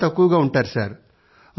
జనం తక్కువగా ఉంటారు